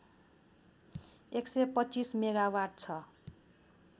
१२५ megawatt छ